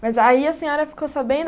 Mas aí a senhora ficou sabendo?